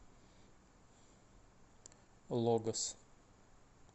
логос